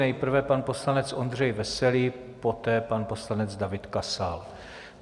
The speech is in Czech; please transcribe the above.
Nejprve pan poslanec Ondřej Veselý, poté pan poslanec David Kasal.